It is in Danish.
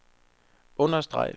understreg